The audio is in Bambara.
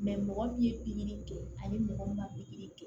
mɔgɔ min ye pikiri kɛ ani mɔgɔ min ma pikiri kɛ